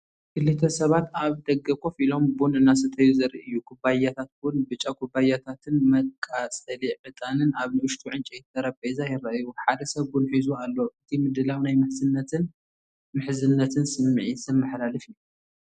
ክልተ ሰባት ኣብ ደገ ኮፍ ኢሎም ቡን እናሰተዩ ዘርኢ እዩ። ኩባያታት ቡን፡ ብጫ ኩባያታትን መቃጸሊ ዕጣንን ኣብ ንእሽቶ ዕንጨይቲ ጠረጴዛ ይረኣዩ። ሓደ ሰብ ቡን ሒዙ ኣሎ። እቲ ምድላው ናይ ምሕዝነትን ምሕዝነትን ስምዒት ዘመሓላልፍ እዩ።